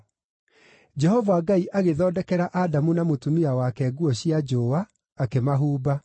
Jehova Ngai agĩthondekera Adamu na mũtumia wake nguo cia njũũa, akĩmahumba.